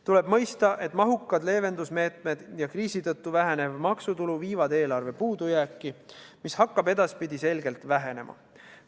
Tuleb mõista, et mahukad leevendusmeetmed ja kriisi tõttu vähenev maksutulu viivad eelarve puudujääki, mis hakkab edaspidi selgelt vähenema.